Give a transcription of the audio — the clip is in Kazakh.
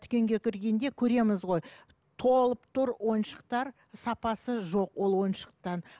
дүкенге кіргенде көреміз ғой толып тұр ойыншықтар сапасы жоқ ол ойыншықтар